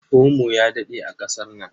Omo ya daɗe a ƙasar nan.